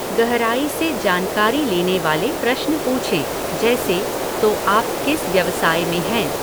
गहराई से जानकारी लेने वाले प्रश्न पूछें जैसे, तो आप किस व्यवसाय में हैं?